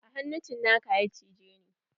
A hannu cinaka ya cije ni.